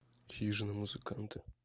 хижина музыканты